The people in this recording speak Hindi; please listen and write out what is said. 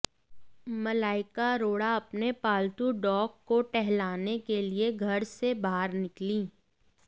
मलाइका अरोड़ा अपने पालतू डॉग को टहलाने के लिए घर से बाहर निकलीं